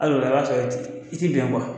Ali o la a y'a sɔrɔ i t ti bɛn